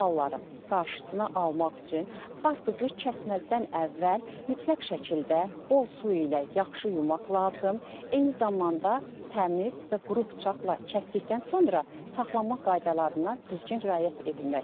Bu halların qarşısını almaq üçün qarpızı kəsməzdən əvvəl mütləq şəkildə bol su ilə yaxşı yumaq lazım, eyni zamanda təmiz və quru bıçaqla kəsdikdən sonra saxlama qaydalarına düzgün riayət etməkdir.